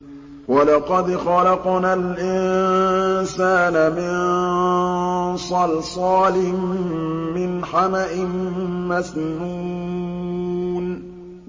وَلَقَدْ خَلَقْنَا الْإِنسَانَ مِن صَلْصَالٍ مِّنْ حَمَإٍ مَّسْنُونٍ